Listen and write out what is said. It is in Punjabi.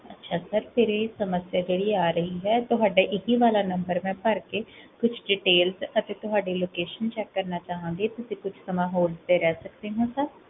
ਅਛਾ sir, ਕੇਹੜੀ ਸਮਸਿਆ ਕੇਹੜੀ ਆ ਰਹੀ ਹੈ? ਤੁਹਾਡਾ ਇਕਿ ਵਾਲਾ number ਮੈਂ ਭਰ ਕੇ ਕੁਛ details ਚ ਅਤੇ ਤੁਹਾਡੀ location check ਕਰਨਾ ਚਾਹਾਂਗੇ ਤੁਸੀਂ ਕੁਛ ਸਮਾਂ hold ਤੇ ਰਹ ਸਕਦੇ ਹੋ?